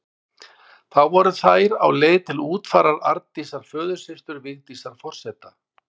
Þá voru þær á leið til útfarar Arndísar, föðursystur Vigdísar forseta.